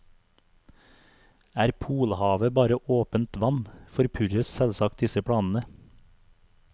Er polhavet bare åpent vann, forpurres selvsagt disse planene.